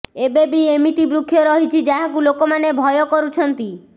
ଏବେବି ଏମିତି ବୃକ୍ଷ ରହିଛି ଯାହାକୁ ଲୋକମାନେ ଭୟ କରୁଛନ୍ତି